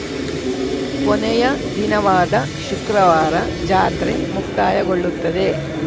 ಕೊನೆಯ ದಿನವಾದ ಶುಕ್ರವಾರ ಜಾತ್ರೆ ಮುಕ್ತಾಯಗೊಳ್ಳುತ್ತದೆ